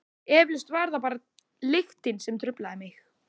Eflaust var það bara lyktin sem truflaði mig.